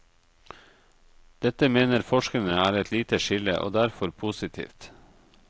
Dette mener forskerne er et lite skille, og derfor positivt.